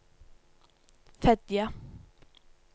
Fedje